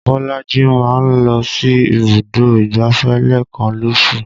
Bolaji máa ń lọ sí ibùdó ìgbáfẹ́ lẹ́ẹ̀kan lóṣù